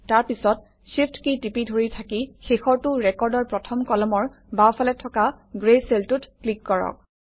তাৰ পিছত shift key টিপি ধৰি থাকি শেষৰটো ৰেকৰ্ডৰ প্ৰথম কলমৰ বাওঁফালে থকা গ্ৰে চেলটোত ক্লিক কৰক